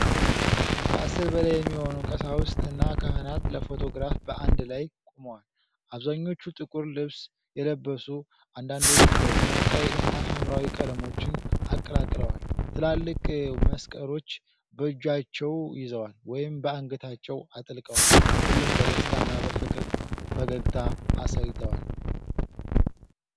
ከአሥር በላይ የሚሆኑ ቀሳውስት እና ካህናት ለፎቶግራፍ በአንድ ላይ ቆመዋል። አብዛኞቹ ጥቁር ልብስ የለበሱ፣ አንዳንዶቹ ደግሞ ቀይ እና ሐምራዊ ቀለሞችን አቀላቅለዋል። ትላልቅ መስቀሎች በእጃቸው ይዘዋል ወይም በአንገታቸው አጥልቀዋል። ሁሉም በደስታና በፍቅር ፈገግታ አሳይተዋል።